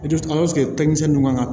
denmisɛnnin ninnu kan ka